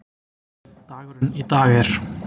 Dagurinn í dag er.